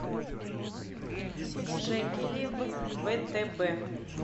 шекели в втб